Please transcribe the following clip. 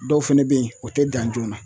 Dɔw fɛnɛ be yen o tɛ dan joona